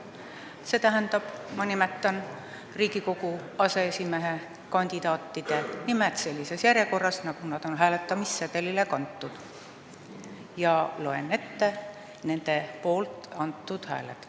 See tähendab, ma nimetan Riigikogu aseesimehe kandidaatide nimed sellises järjekorras, nagu need on hääletamissedelitele kantud, ja loen ette nende poolt antud hääled.